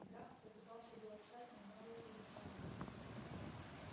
драфт попытался было встать но мэллоу удержал его